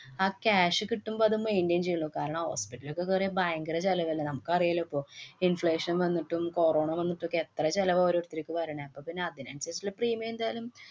ആ cash കിട്ടുമ്പോ അത് maintain ചെയ്യണം. കാരണം, hospital ലൊക്കെ കേറിയാ ഭയങ്കര ചെലവ് തന്നെ. നമുക്ക് അറിയാലോ ഇപ്പൊ inflation വന്നിട്ടും, കൊറോണ വന്നിട്ടൊക്കെ എത്ര ചെലവാ ഓരോര്ത്തര്ക്ക് വരണേ. അപ്പൊ പിന്നെ അതിനനുസരിച്ചുള്ള premium എന്തായാലും